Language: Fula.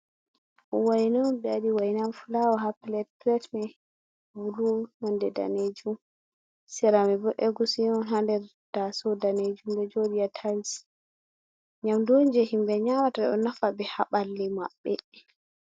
Waina on be waɗi wainan fulawa ha pilet, pilet mai bulu nonɗe danejum. Sera man bo agushi on ha dér taso danejum ɗo jôdi ha tayis. Nyamɗu on je himbe nyamata ɗo nafa bé haballi maɓɓe.